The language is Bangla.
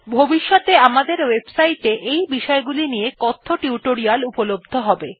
ভবিষ্যতে আমাদের ওএবসাইট এ এই বিষয়গুলির নিয়ে কথ্য টিউটোরিয়াল উপলব্ধ হবে